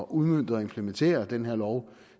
udmønte og implementere den her lov